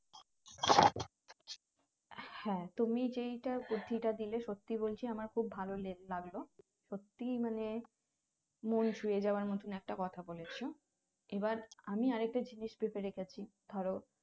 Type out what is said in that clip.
হ্যাঁ তুমি যেইটা বুদ্ধিটা দিলে সত্যি বলছি আমার খুব ভালো লাগলো সত্যিই মানে মন চুইয়ে যাবার মতোন একটা কথা বলেছো এবার আমি আর একটা জিনিস ভেবে রেখেছি ধরো